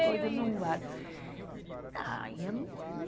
Veio isso. Ah, aí eu não, não